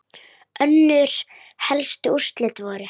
Þinn vinnur alltaf, Frosti.